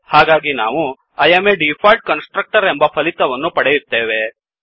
ಹಾಗಾಗಿ ನಾವು I am a default constructor ಎಂಬ ಫಲಿತವನ್ನು ಪಡೆಯುತ್ತೇವೆ